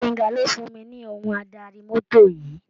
Gbenga ló fún mi ní ohun adarí mọ́tò yìí.